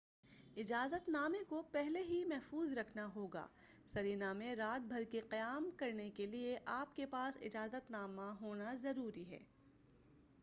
اجازت نامے کو پہلے ہی محفوظ رکھنا ہوگا سرینا میں رات بھر کے قیام کرنے کے لئے اپ کے پاس اجازت نامہ کا ہونا ضروری ہے